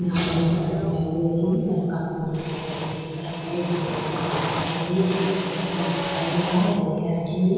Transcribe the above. यहाँ पर एक सड़क दिखाई दे रही है सड़क काफी बड़ी दिखाई दे रही है सड़क पर एक फूलो की दूकान दिखाई दे रही है एक स्टूल रखा हुआ दिखाई दे रहा है बोरियां रखी हुई है।